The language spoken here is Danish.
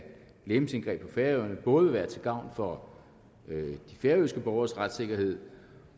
legemsindgreb på færøerne både vil være til gavn for de færøske borgeres retssikkerhed